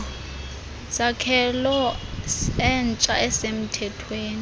sakhelo entsha esemthethweni